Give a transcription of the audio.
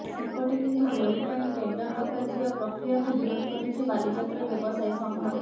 ସେପଟେ କିନ୍ତୁ ଦୋଳି ପାଇଁ ଟେଣ୍ଡର ଡକାଯିବା ପ୍ରକ୍ରିୟାକୁ ବିରୋଧ କରିଛି ବାଲିଯାତ୍ରା ବ୍ୟବସାୟୀ ସଂଘ